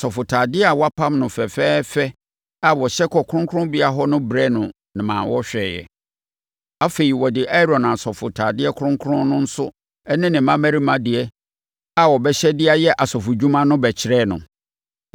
Wɔde asɔfotadeɛ a wɔapam no fɛfɛɛfɛ a wɔhyɛ kɔ kronkronbea hɔ no brɛɛ no ma ɔhwɛeɛ. Afei, wɔde Aaron asɔfotadeɛ kronkron no nso ne ne mmammarima deɛ a wɔbɛhyɛ de ayɛ asɔfodwuma no bɛkyerɛɛ no.